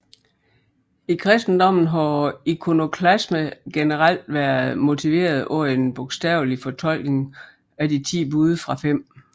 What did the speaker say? I kristendommen har ikonoklasme generelt været motiveret af en bogstavelig fortolkning af de ti bud fra 5